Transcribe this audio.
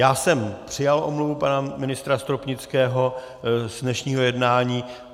Já jsem přijal omluvu pana ministra Stropnického z dnešního jednání.